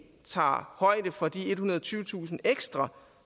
tager højde for de ethundrede og tyvetusind ekstra